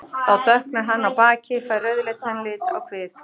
Þá dökknar hann á baki, fær rauðleitan lit á kvið.